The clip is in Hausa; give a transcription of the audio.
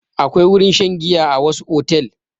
Akwai wurin shan giya a wasu otel.